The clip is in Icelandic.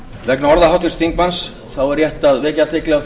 vegna orða háttvirts þingmanns er rétt að vekja athygli á